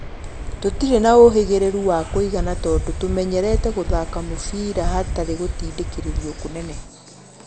Tũtirĩ na ũhĩgĩrĩru wa kũigana tondũ tũmenyerete gũthaka mũbira hatarĩ gũtindĩkĩrĩrio kũnene.